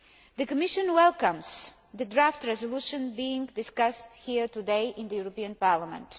The Commission welcomes the draft resolution being discussed here today in the European Parliament.